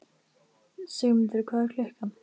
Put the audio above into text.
Sigurmundur, hvað er klukkan?